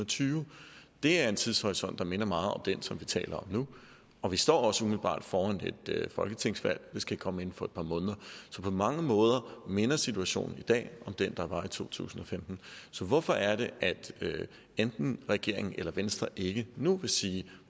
tyve det er en tidshorisont der minder meget om den som vi taler om nu og vi står også umiddelbart foran et folketingsvalg det skal komme inden for et par måneder så på mange måder minder situationen i dag om den der var i to tusind og femten så hvorfor er det at enten regeringen eller venstre ikke nu vil sige